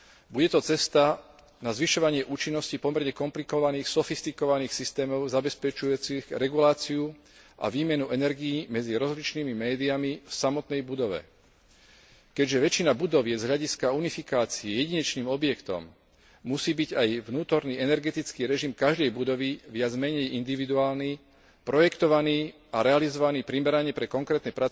Bude to cesta na zvyšovanie účinnosti pomerne komplikovaných sofistikovaných systémov zabezpečujúcich reguláciu a výmenu energií medzi rozličnými médiami v samotnej budove. Keďže väčšina budov je z hľadiska unifikácie jedinečným objektom, musí byť aj vnútorný energetický režim každej budovy viac menej individuálny, projektovaný a realizovaný primerane pre konkrétne